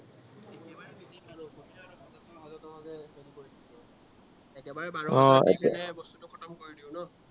উম একেবাৰে খতম কৰি দিও আৰু ন